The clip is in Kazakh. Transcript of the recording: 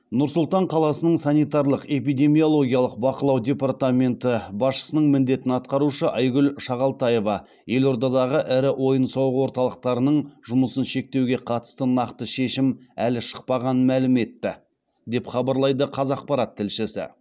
нұр сұлтан қаласының санитарлық эпидемиологиялық бақылау департаменті басшысының міндетін атқарушы айгүл шағалтаева елордадағы ірі ойын сауық орталықтарының жұмысын шектеуге қатысты нақты шешім әлі шықпағанын мәлім етті деп хабарлайды қазақпарат тілшісі